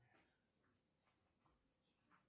афина сделай стоп